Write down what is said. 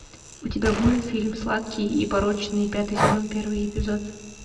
у тебя будет фильм сладкий и порочный пятый сезон первый эпизод